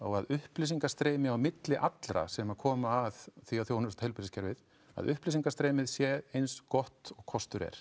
að upplýsingastreymi á milli allra sem koma að því að þjónusta heilbrigðiskerfið að upplýsingastreymið sé eins gott og kostur er